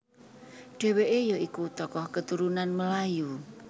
Dheweke ya iku tokoh keturunan Melayu